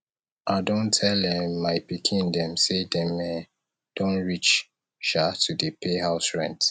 i don tell um my pikin dem sey dem um don reach um to dey pay house rent